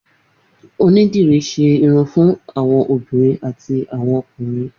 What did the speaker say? Onídìrí ṣe irun fun awọn obinrin ati awọn ọkunrin.